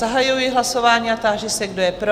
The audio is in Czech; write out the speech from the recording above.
Zahajuji hlasování a táži se, kdo je pro?